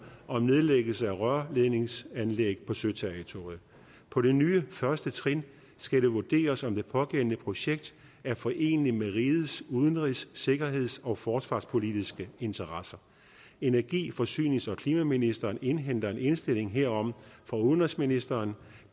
om nedlæggelse af rørledningsanlæg på søterritoriet på det nye første trin skal det vurderes om det pågældende projekt er foreneligt med rigets udenrigs sikkerheds og forsvarspolitiske interesser energi forsynings og klimaministeren indhenter en indstilling herom fra udenrigsministeren